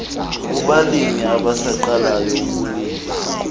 kubalimi abasaqalayo abalimi